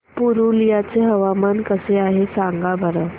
पुरुलिया चे हवामान कसे आहे सांगा बरं